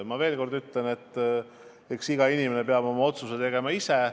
Ma veel kord ütlen, et iga inimene peab oma otsuse tegema ise.